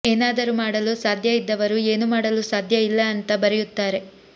ಏನಾದರೂ ಮಾಡಲು ಸಾಧ್ಯ ಇದ್ದವರು ಏನೂ ಮಾಡಲು ಸಾಧ್ಯ ಇಲ್ಲ ಅಂತ ಬರೆಯುತ್ತಾರೆ